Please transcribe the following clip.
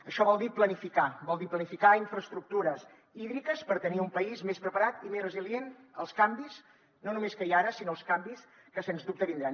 això vol dir planificar vol dir planificar infraestructures hídriques per tenir un país més preparat i més resilient als canvis no només que hi ha ara sinó als canvis que sens dubte vindran